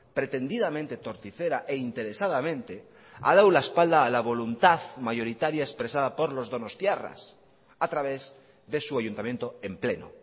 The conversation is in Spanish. pretendidamente torticera e interesadamente ha dado la espalda a la voluntad mayoritaria expresada por los donostiarras a través de su ayuntamiento en pleno